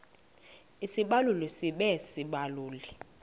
isibaluli sibe sisibaluli